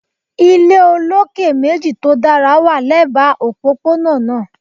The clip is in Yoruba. Ile ile oloke meji to dara wa lẹba opopona naa